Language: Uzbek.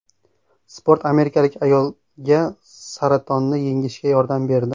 Sport amerikalik ayolga saratonni yengishga yordam berdi.